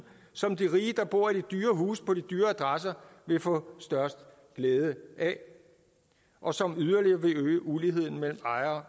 som de rige der bor i de dyre huse på de dyre adresser vil få størst glæde af og som yderligere vil øge uligheden mellem ejere